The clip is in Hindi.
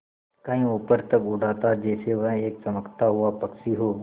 कहीं ऊपर तक उड़ाता जैसे वह एक चमकता हुआ पक्षी हो